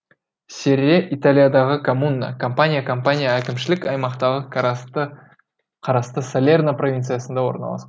серре италиядағы коммуна кампания кампания әкімшілік аймағына қарасты салерно провинциясында орналасқан